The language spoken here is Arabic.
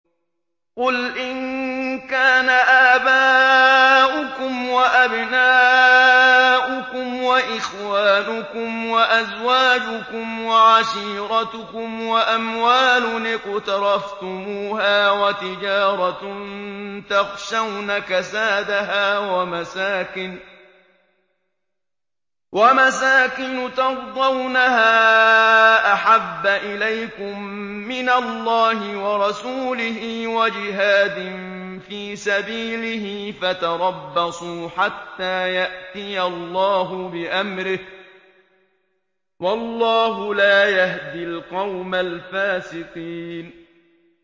قُلْ إِن كَانَ آبَاؤُكُمْ وَأَبْنَاؤُكُمْ وَإِخْوَانُكُمْ وَأَزْوَاجُكُمْ وَعَشِيرَتُكُمْ وَأَمْوَالٌ اقْتَرَفْتُمُوهَا وَتِجَارَةٌ تَخْشَوْنَ كَسَادَهَا وَمَسَاكِنُ تَرْضَوْنَهَا أَحَبَّ إِلَيْكُم مِّنَ اللَّهِ وَرَسُولِهِ وَجِهَادٍ فِي سَبِيلِهِ فَتَرَبَّصُوا حَتَّىٰ يَأْتِيَ اللَّهُ بِأَمْرِهِ ۗ وَاللَّهُ لَا يَهْدِي الْقَوْمَ الْفَاسِقِينَ